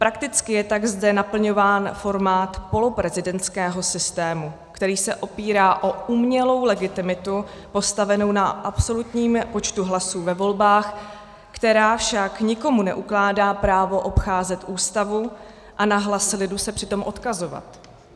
Prakticky je tak zde naplňován formát poloprezidentského systému, který se opírá o umělou legitimitu postavenou na absolutním počtu hlasů ve volbách, která však nikomu neukládá právo obcházet Ústavu a na hlas lidu se přitom odkazovat.